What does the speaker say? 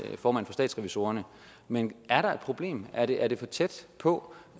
formand for statsrevisorerne men er der et problem er det er det for tæt på